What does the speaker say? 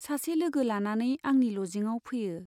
सासे लोगो लानानै आंनि लजिङाव फैयो।